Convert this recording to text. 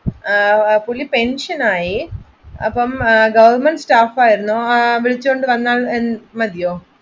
പുള്ളി പെൻഷനായി അപ്പൊ ഗവണ്മെന്റ് സ്റ്റാഫ് ആയിരുന്നു അപ്പൊ വിളിച്ചുകൊണ്ട് വന്നാ മതിയോ